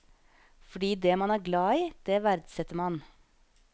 Fordi det man er glad i, det verdsetter man.